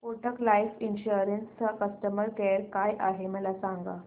Kotak life insurance चा customer care काय आहे मला सांगा